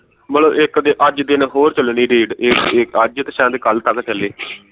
ਮਤਲਬ ਇਕ ਦਿਨ ਅੱਜ ਦਿਨ ਹੋਰ ਚੱਲਣੀ raid ਇਕ ਇਕ ਅੱਜ ਤੇ ਸ਼ਾਇਦ ਇਕ ਕੱਲ ਤਁਕ ਚੱਲੇ